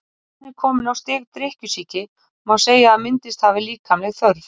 Þegar neyslan er komin á stig drykkjusýki má segja að myndast hafi líkamleg þörf.